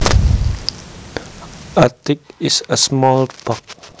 A tick is a small bug